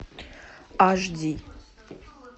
аш ди